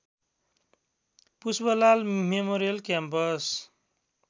Pushpalal memorial campus